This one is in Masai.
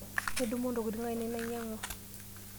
Midumu ntokitin ainei nainyang'wa.